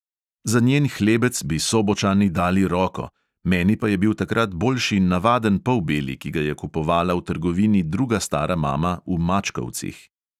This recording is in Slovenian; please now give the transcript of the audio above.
Za njen hlebec bi sobočani dali roko, meni pa je bil takrat boljši navaden polbeli, ki ga je kupovala v trgovini druga stara mama v mačkovcih.